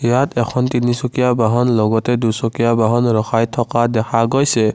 ইয়াত এখন তিনিচকীয়া বাহন লগতে দুচকীয়া বাহন ৰখাই থকা দেখা গৈছে।